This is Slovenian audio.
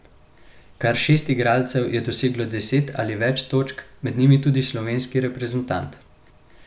Kar šest igralcev je doseglo deset ali več točk, med njimi tudi slovenski reprezentant.